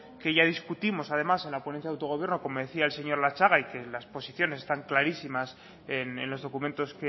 que ya discutimos además en la ponencia de autogobierno como decía el señor latxaga y que las posiciones están clarísimas en los documentos